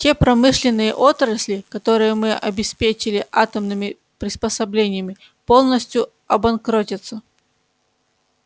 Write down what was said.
те промышленные отрасли которые мы обеспечили атомными приспособлениями полностью обанкротятся